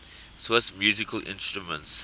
swiss musical instruments